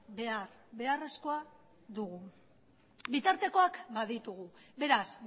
behar beharrezkoa dugu bitartekoak baditugu beraz